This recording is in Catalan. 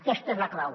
aquesta és la clau